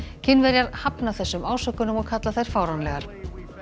Kínverjar hafna þessum ásökunum og kalla þær fáránlegar